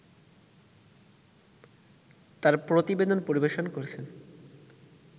তার প্রতিবেদন পরিবেশন করছেন